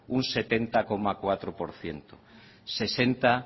un setenta coma cuatro por ciento sesenta